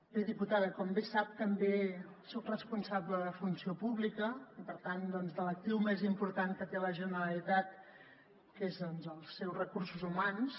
bé diputada com bé sap també soc responsable de funció pública i per tant de l’actiu més important que té la generalitat que són doncs els seus recursos humans